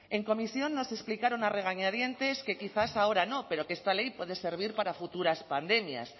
en comisión nos explicaron a regañadientes que quizás ahora no pero que esta ley puede servir para futuras pandemias